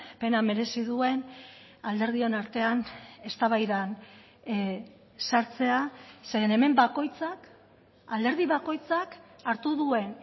pena merezi duen alderdion artean eztabaidan sartzea zeren hemen bakoitzak alderdi bakoitzak hartu duen